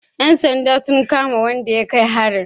Yan sanda sun kama wanda ya kai harin?